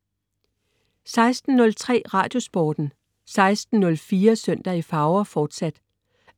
16.03 Radiosporten 16.04 Søndag i farver, fortsat